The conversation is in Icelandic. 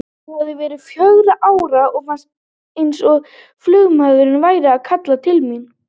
Ég hafði verið fjögurra ára og fannst eins og flugmaðurinn væri að kalla til mín.